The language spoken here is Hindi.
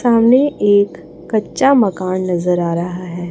सामने एक कच्चा मकान नजर आ रहा है।